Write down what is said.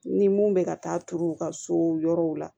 Ni mun bɛ ka taa turu u ka so yɔrɔw la